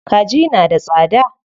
Kaji na da tsada.